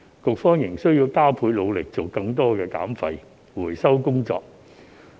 局方仍須加倍努力做更多減廢回收的工作。